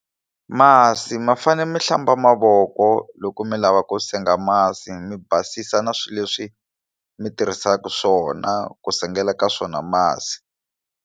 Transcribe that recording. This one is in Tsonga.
Masi ma fanele mi hlamba mavoko loko mi lava ku senga masi mi basisa na swilo leswi mi tirhisaka swona ku sengela ka swona masi.